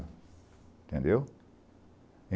Entendeu?